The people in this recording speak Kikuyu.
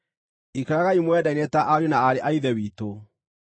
Ikaragai mwendaine ta ariũ na aarĩ a Ithe witũ.